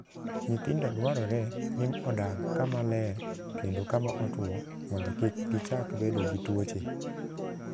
Nyithindo dwarore ni odag kama ler kendo kama otwo mondo kik gichak bedo gi tuoche.